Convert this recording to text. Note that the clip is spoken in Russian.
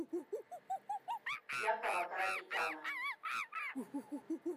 якова карапетяна